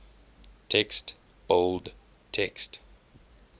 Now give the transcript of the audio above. text bold text